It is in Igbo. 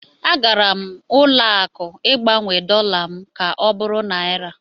A gara m ụlọ akụ Ịgbanwe dọla m ka ọ bụrụ naịra.